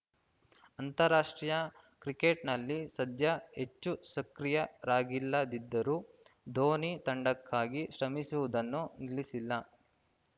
ಅಂತಾರಾಷ್ಟ್ರೀಯ ಕ್ರಿಕೆಟ್‌ನಲ್ಲಿ ಸದ್ಯ ಹೆಚ್ಚು ಸಕ್ರಿಯರಾಗಿಲ್ಲದಿದ್ದರೂ ಧೋನಿ ತಂಡಕ್ಕಾಗಿ ಶ್ರಮಿಸುವುದನ್ನು ನಿಲ್ಲಿಸಿಲ್ಲ